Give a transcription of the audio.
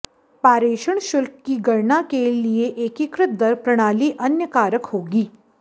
पारेषण शुल्क की गणना के लिए एकीकृत दर प्रणाली अन्य कारक होगी